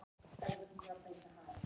Útihurðinni er hrundið upp.